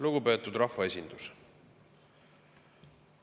Lugupeetud rahvaesindus!